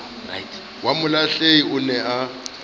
wa molahlehi o ne a